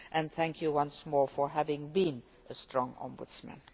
Thank you once more for having been a strong Ombudsman.